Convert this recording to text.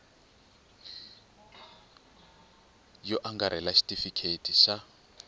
yo angarhela na xitifiketi xa